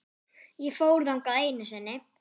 Ég fór þangað einu sinni.